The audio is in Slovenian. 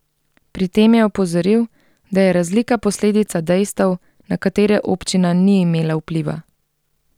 Pri tem je opozoril, da je razlika posledica dejstev, na katere občina ni imela vpliva.